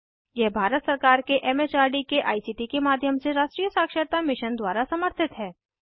यह भारत सरकार के एम एच आर डी के आई सी टी के माध्यम से राष्ट्रीय साक्षरता मिशन द्वारा समर्थित है